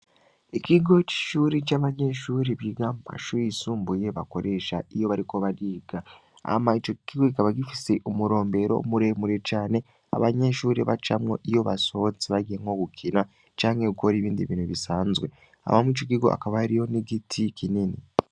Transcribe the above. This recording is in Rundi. Ikigo c'ishuri c'abanyenshuri biga mpash uyisumbuye bakoresha iyo bariko bariga ama ico gikigo gikaba gifise umurombero muremure cane abanyenshuri bacamwo iyo basohotse bagiye nko gukina canke yukora ibindi bintu bisanzwe abamwe ico igigo akabayari yo n'igiti kinini.